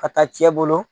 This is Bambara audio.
Ka taa cɛ bolo